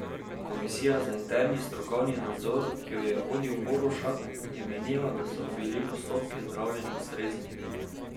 Komisija za interni strokovni nadzor, ki jo je vodil Borovšak, je menila, da so bili postopki zdravljenja ustrezni.